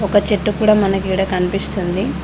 ఒక చెట్టు కూడా మనకు ఈడ కనిపిస్తుంది.